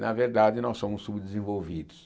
Na verdade, nós somos subdesenvolvidos.